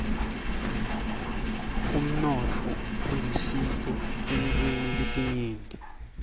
umnotfo ulisito etintfweni letinyenti